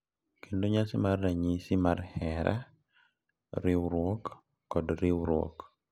Kendo nyasi mar ranyisi mar hera, riwruok, kod riwruok